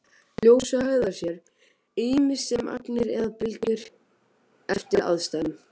Ljósið hegðar sér ýmist sem agnir eða bylgjur eftir aðstæðum.